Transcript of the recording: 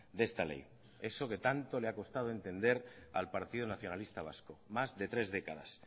de esta ley eso que tanto le ha costado entender al partido nacionalista vasco más de tres décadas